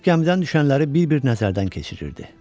Fiks gəmidən düşənləri bir-bir nəzərdən keçirirdi.